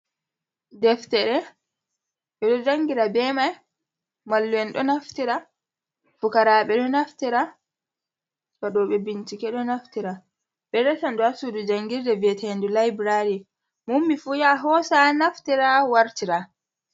Deftere ɓe ɗo janngira be may ,mallum'en ɗo naftira, fukaraaɓe ɗo naftira, waɗobe bincike ɗo naftira ,ɗo resa ndu a suudu janngirde ve'eteendu labulari mo ƴummi fu ya hoosa naftira wartira.